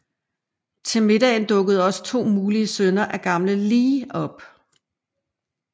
Til middagen dukker også to mulige sønner af gamle Lee op